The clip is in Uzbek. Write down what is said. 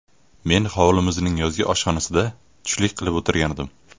Men hovlimizning yozgi oshxonasida tushlik qilib o‘tirgandim.